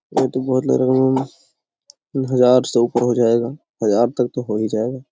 ये तो बहुत हजार से ऊपर हो जाएगा हजार तक तो हो ही जाएगा ।